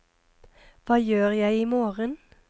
hva gjør jeg imorgen